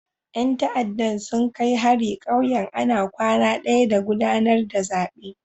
Yan ta'addan sun kai hari kauyen ana kwana daya da gudanar da zabe.